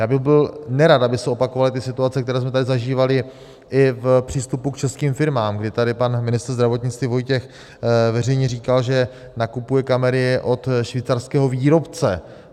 Já bych byl nerad, aby se opakovaly ty situace, které jsme tady zažívali i v přístupu k českým firmám, kdy tady pan ministr zdravotnictví Vojtěch veřejně říkal, že nakupuje kamery od švýcarského výrobce.